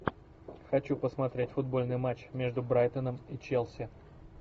хочу посмотреть футбольный матч между брайтоном и челси